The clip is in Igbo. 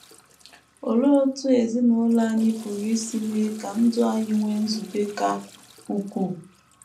Olee otú ezinụlọ anyị pụrụ isi mee ka ndụ anyị nwee nzube ka ukwuu?